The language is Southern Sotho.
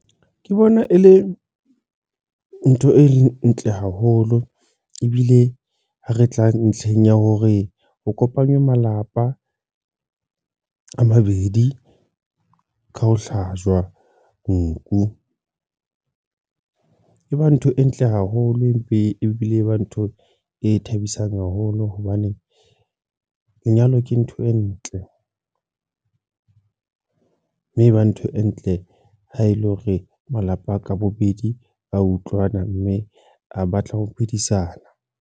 Ke bona e le ntho e ntle haholo ebile ha re tla ntlheng ya hore o kopanywe malapa a mabedi ka ho hlajuwa nku e ba ntho e ntle haholo empe ebile e ba ntho e thabisang haholo hobane lenyalo ke ntho e ntle, mme e ba ntho e ntle ha ele hore malapa a ka bobedi a utlwana mme a batla ho phedisana.